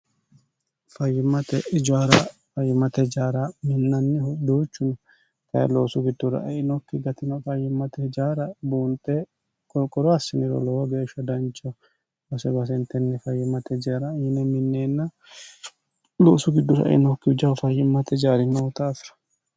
fayyimmate ijaara fayyimmate ijaara minnannihu doochu kayi loosu giddora einokki gatino fayyimmate ijaara buunxe qorqoro assiniro lowo geeshsha danchaho loonse baasentenni fayyimmate ijara yine minneenna loosu giddora einokki jawu fayyimmate ijaari dafira